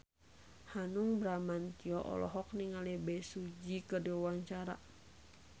Hanung Bramantyo olohok ningali Bae Su Ji keur diwawancara